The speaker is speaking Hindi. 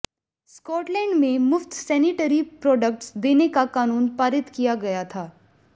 स्कॉटलैंड में मुफ्त सैनिटरी प्रॉडक्ट्स देने का कानून पारित किया गया था